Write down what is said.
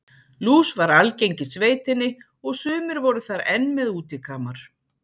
Lús var algeng í sveitinni og sumir voru þar enn með útikamar.